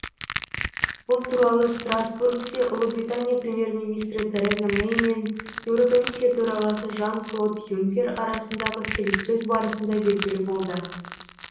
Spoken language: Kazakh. бұл туралы страстбургте ұлыбритания премьер министрі тереза мэй мен еурокомиссия төрағасы жан клод юнкер арасындағы келіссөз барысында белгілі болды